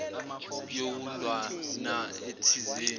yokuya ndawana thizeni